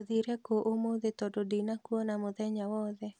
ũthire kũ ũmũthĩ tondũ ndina kuona mũthenya wothe?